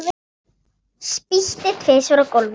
Spýti tvisvar á gólfið.